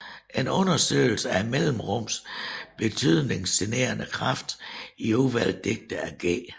En undersøgelse af mellemrummets betydningsgenererende kraft i udvalgte digte af G